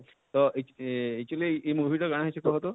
ତ ଏଚ actually ଇ movie ଟା କାଣା ହେଇଛେ କହତ?